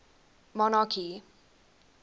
monarchy